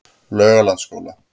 Laugalandsskóla